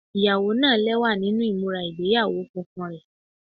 Iyawo naa lẹwa ni imura igbeyawo funfun rẹ